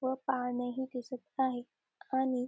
व पाने ही दिसत आहे आणि--